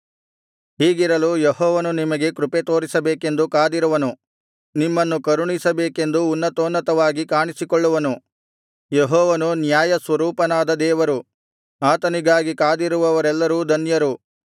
ಹೀಗಿರಲು ಯೆಹೋವನು ನಿಮಗೆ ಕೃಪೆತೋರಿಸಬೇಕೆಂದು ಕಾದಿರುವನು ನಿಮ್ಮನ್ನು ಕರುಣಿಸಬೇಕೆಂದು ಉನ್ನತೋನ್ನತವಾಗಿ ಕಾಣಿಸಿಕೊಳ್ಳುವನು ಯೆಹೋವನು ನ್ಯಾಯಸ್ವರೂಪನಾದ ದೇವರು ಆತನಿಗಾಗಿ ಕಾದಿರುವವರೆಲ್ಲರೂ ಧನ್ಯರು